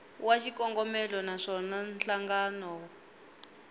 wa xikombelo na swona nhlangano